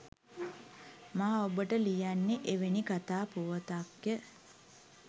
මා ඔබට ලියන්නේ එවැනි කතා පුවතක්ය